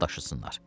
Saldashsinlar.